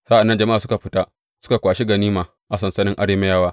Sa’an nan jama’a suka fita suka kwashi ganima a sansanin Arameyawa.